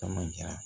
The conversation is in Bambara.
Kama jara